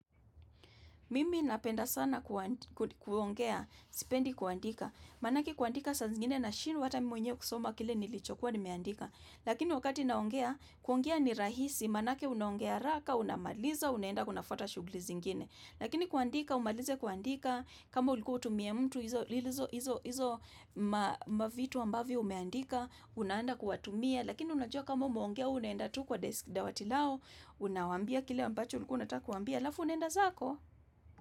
Mimi napenda sana kuongea, sipendi kuandika. Maanake kuandika saa zingine nashindwa hata mimi mwenyewe kusoma kile nilichokuwa nimeandika. Lakini wakati naongea, kuongea ni rahisi, maanake unaongea haraka, unamaliza, unaenda unafuata shughuli zingine. Lakini kuandika, umalize kuandika, kama ulikuwa utumie mtu, hizo mavitu ambavyo umeandika, una andaa kuwatumia, lakini unajua kama umeongea, wwe unaenda tu kwa desk dawati lao, unawaambia kile ambacho, ulikuwa unataka kuwa ambia, alafu unaenda zako.